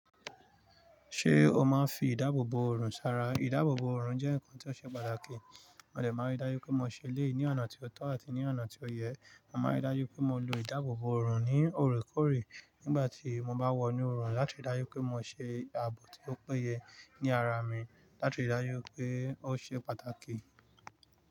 Ṣé o máa ń fi ìdáàbòbò ọrùn sara? Ìdáàbòbò ọrùn jẹ́ ǹkan tí ó ṣe pàtàkì. Mo lè máa ń ri dájú pé mo ṣe eleyii ní ọ̀nà tí ó tọ́ àti ní ọ̀nà tí ó yẹ. Mo máa ń ri dájú pé mo lo ìdáàbòbò ọrùn ní òrékọ́ọ̀rẹ́ nígbà tí mo bá wọ inú ọrùn, láti dájú pé mo ṣe ààbò tí ó péye ní ara mi, láti ri dájú pé ó ṣe pàtàkì.